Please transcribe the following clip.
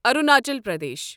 Arunachal Pradesh